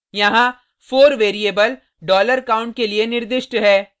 यहाँ 4 variable $count के लिए निर्दिष्ट है